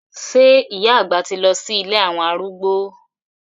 Sé ìyá àgbà ti lọ sí ilé àwọn arúgbó?